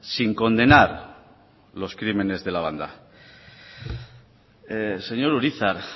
sin condenar los crímenes de la banda señor urizar